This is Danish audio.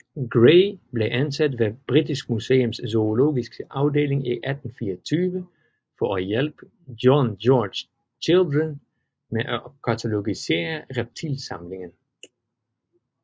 Gray blev ansat ved British Museums zoologiske afdeling i 1824 for at hjælpe John George Children med at katalogisere reptilsamlingen